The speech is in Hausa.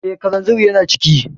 Eh, kalanzir yana ciki